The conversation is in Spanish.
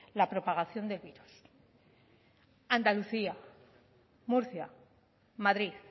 la propagación del virus andalucía murcia madrid